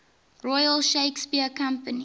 royal shakespeare company